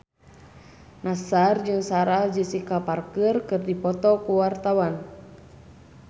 Nassar jeung Sarah Jessica Parker keur dipoto ku wartawan